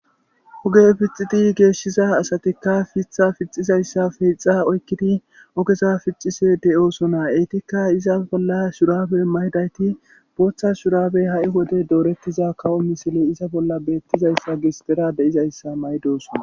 hoge pixidi geeshshiza asatikka fitha pixizayssafe hixa oykkidi ogeza pixise de7oosonaa eetikka iza bolla shuraabe maydayti booththa shurabey ha7i wode doorettiza kawo misile iza bolla beettizayssa gis dera de7izayssa maydosona